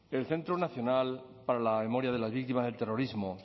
el centro nacional para la memoria de las víctimas del terrorismo